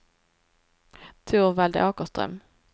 Torvald Åkerström